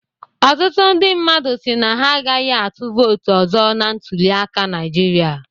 Ọtụtụ ndị mmadụ si na ha agaghị atụ vootụ ọzọ na ntuliaka Naịjirịa